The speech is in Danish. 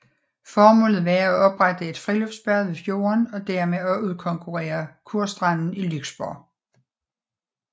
Formålet var at oprette et friluftsbad ved fjorden og dermed at udkonkurrere kurstranden i Lyksborg